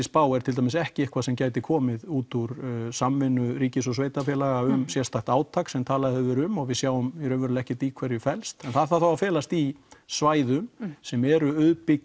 spá er til dæmis ekki eitthvað sem gæti komið út úr samvinnu ríkis og sveitarfélaga um sérstakt átak sem talað hefur verið um og við sjáum raunverulega ekki í hverju það felst en það þarf þá að felast í svæðum sem eru